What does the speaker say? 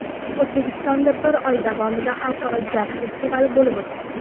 O‘zbekistonda bir oy davomida Xalqaro jaz festivali bo‘lib o‘tadi.